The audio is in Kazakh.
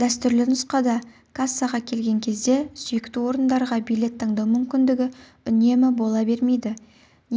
дәстүрлі нұсқада кассаға келген кезде сүйікті орындарға билет таңдау мүмкіндігі үнемі бол бермейді